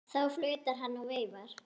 Þá flautar hann og veifar.